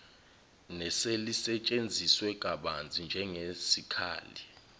neselisetshenziswe kabanzi njengesikhali